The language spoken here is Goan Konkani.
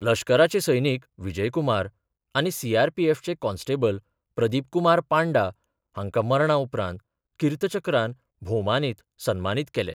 लश्कराचे सैनीक विजय कुमार आनी सीआरपीएफचे कॉन्स्टेबल प्रदीप कुमार पांडा हांकां मरणा उपरांत किर्त चक्रान भोवमानीत सन्मानीत केले.